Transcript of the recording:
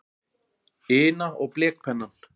ina og blekpennann.